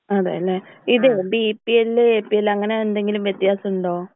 അതെ ല്ലെ? ഇത് B P L A P L അങ്ങനെ എന്തെങ്കിലും വ്യത്യാസം ഉണ്ടോ?